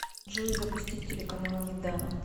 джой запустить телеканал еда